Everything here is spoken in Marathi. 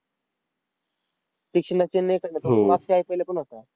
तीक्ष्णा चेन्नईतच होता. अं त्याच्या मागच्या होता.